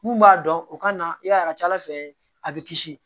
Mun b'a dɔn u ka na i b'a ye a ka ca ala fɛ a bɛ kisi